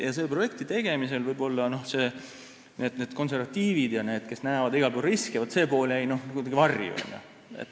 Selle projekti tegemisel võib-olla konservatiivide pool, kes näeb igal pool riske, jäi kuidagi varju.